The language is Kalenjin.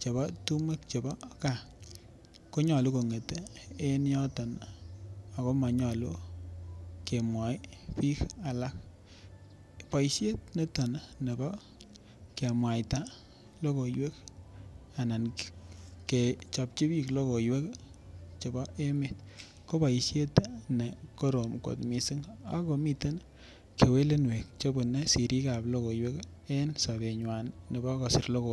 chebo tumwek chebo gaaa nyolu konget en yoton nii ako monyolu kemwoi bik alak Boishet niton nibo komwaita lokoiwek anan kechopchi bik lokoiwek chebo emet ko boishet nekorom kot missing akomiten uinuek chebune sirikab lokoiwek en sobenywan nebo kosir lokoiwek.